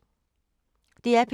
DR P2